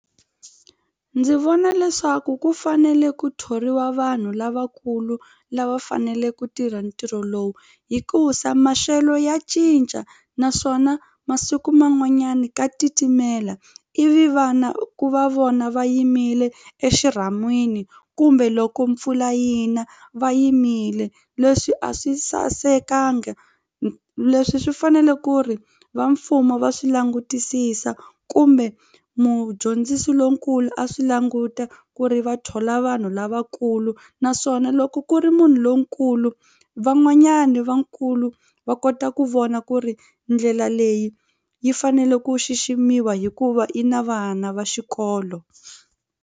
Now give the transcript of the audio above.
Ndzi vona leswaku ku fanele ku thoriwa vanhu lavakulu lava fanele ku tirha ntirho lowu hikusa maxelo ya cinca naswona masiku man'wanyana ka titimela ivi vana ku va vona va yimile exirhamini kumbe loko mpfula yi na va yimile leswi a swi sasekanga leswi swi fanele ku ri va mfumo va swi langutisisa kumbe mudyondzisi lonkulu a swi languta ku ri va thola vanhu lavakulu naswona loko ku ri munhu lonkulu van'wanyani vakulu va kota ku vona ku ri ndlela leyi yi fanele ku xiximiwa hikuva i na vana va xikolo.